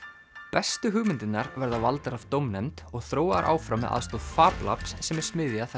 bestu hugmyndirnar verða valdar af dómnefnd og þróaðar áfram með aðstoð Fab lab sem er smiðja þar